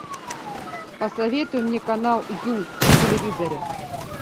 посоветуй мне канал ю на телевизоре